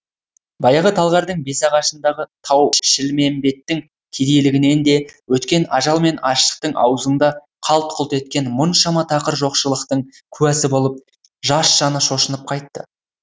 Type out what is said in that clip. баяғы талғардың бесағашындағы тау шілмембеттің кедейлігінен де өткен ажал мен аштықтың азуында қалт құлт еткен мұншама тақыр жоқшылықтың куәсі болып жас жаны шошынып қайтты